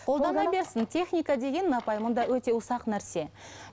қолдана берсін техника деген апай мұнда өте ұсақ нәрсе